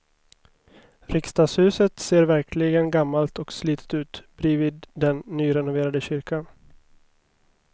Riksdagshuset ser verkligen gammalt och slitet ut bredvid den nyrenoverade kyrkan.